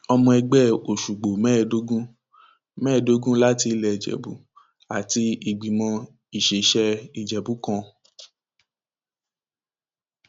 ọmọ ẹgbẹ òsùgbò mẹẹẹdógún mẹẹẹdógún láti ilé ìjẹbù àti ìgbìmọ ìṣesẹ ìjẹbù kan